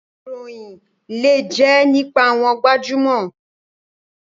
Ìròyìn lè jẹ́ nípa àwọn gbajúmọ̀.